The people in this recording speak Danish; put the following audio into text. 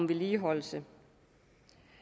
vedligeholdelse